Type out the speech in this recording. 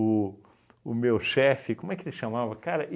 o meu chefe, como é que que ele chamava? Cara,